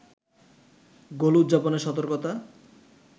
গোল উদযাপনে সতর্কতা